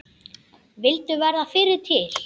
Vildu verða fyrri til.